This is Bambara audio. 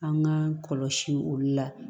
An k'an kɔlɔsi olu la